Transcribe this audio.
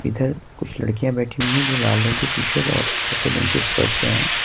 इधर कुछ लड़कियां बैठी हुई है जो लाल रंग की टी_शर्ट और सफेद रंग के स्कर्ट पे हैं।